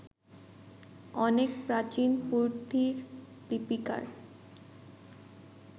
অনেক প্রাচীন পুঁথির লিপিকার